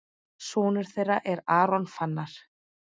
Sonur þeirra er Aron Fannar.